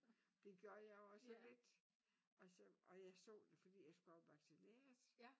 Det gjorde jeg også lidt og så og jeg så det fordi jeg skulle op vaccineres